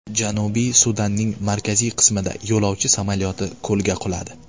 Janubiy Sudanning markaziy qismida yo‘lovchi samolyoti ko‘lga quladi.